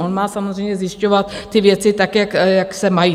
On má samozřejmě zjišťovat ty věci tak, jak se mají.